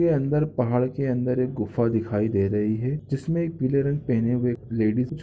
-- के अंदर पहाड़ के अंदर एक गुफा दिखाई दे रही है जिसमे एक पीले रंग पहने हुए लेडिस --